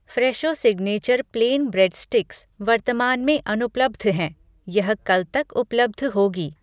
Fresho signature plain bread sticks वर्तमान में अनुपलब्ध है, यह कल तक उपलब्ध होगी।